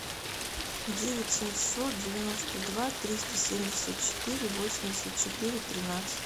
девять семьсот девяносто два триста семьдесят четыре восемьдесят четыре тринадцать